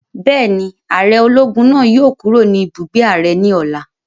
Bẹ́ẹ̀ni, ààrẹ ológun náà yóò kúrò ní ibùgbé ààrẹ ní ọ̀la